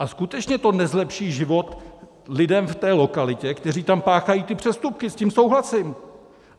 A skutečně to nezlepší život lidem v té lokalitě, kteří tam páchají ty přestupky - s tím souhlasím!